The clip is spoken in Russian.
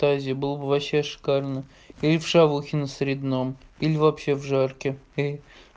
было бы вообще шикарно ириша блохина средном или вообще обжарки